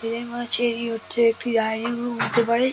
এদের মনে হচ্ছে রি হচ্ছে একটি ডাইনিং রুম হতে পারে |